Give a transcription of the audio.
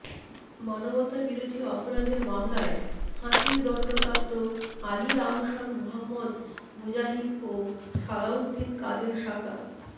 মানবতাবিরোধী অপরাধের মামলায় ফাঁসির দণ্ডপ্রাপ্ত আলী আহসান মোহাম্মদ মুজাহিদ ও সালাউদ্দিন কাদের সাকা